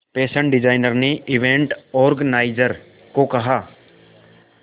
fashion designer ने event organiser को कहा